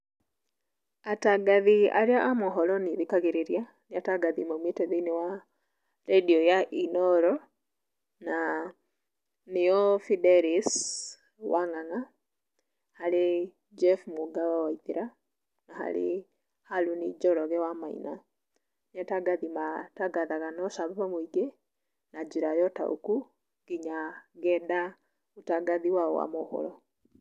Atangathi arĩa a mohoro niĩ thikagĩrĩria, nĩ atangathi maumĩte thĩinĩ wa randiũ ya Inoro, na nĩo Fidelis wa Ng'ang'a, harĩ Jeff Mũnga wa Waithĩra, na harĩ Harũni Njoroge wa Maina. Nĩ atangathi matangathaga na ũcamba mũingĩ, na njĩra ya ũtaũku, na nginya ngenda ũtangathi wao wa mohoro.